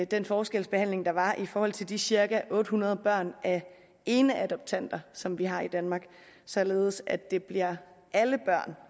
den forskelsbehandling der var i forhold til de cirka otte hundrede børn af eneadoptanter som vi har i danmark således at det bliver alle børn